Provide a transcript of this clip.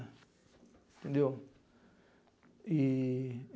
Entendeu? E